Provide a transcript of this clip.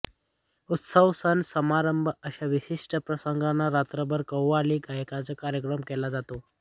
उत्सव सण समारंभ अश्या विशिष्ट प्रसंगांना रात्रभर कव्वाली गायनाचा कार्यक्रम केला जातो